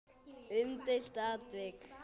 Umdeilt atvik?